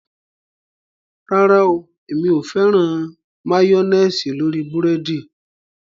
Rárá o èmi ò fẹ́ràn máyọ́néésì lórí búrẹ́dì